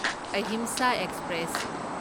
Ahimsa express